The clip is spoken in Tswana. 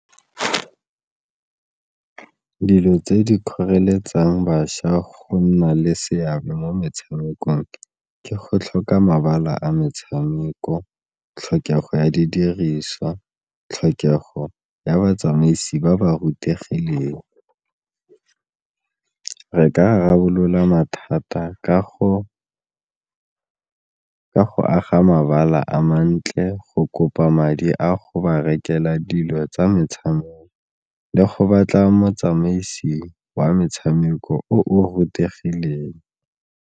Dilo tse di kgoreletsang bašwa go nna le seabe mo metshamekong ke go tlhoka mabala a metshameko, tlhokego ya didiriswa, tlhokego ya batsamaisi ba ba rutegileng. Re ka rarabolola mathata ka go aga mabala a mantle, go kopa madi a go ba rekelwa dilo tsa metshameko le go batla motsamaisi wa metshameko o o rutegileng.